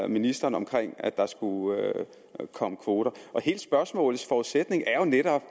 ministeren om at der skulle komme kvoter hele spørgsmålets forudsætning er jo netop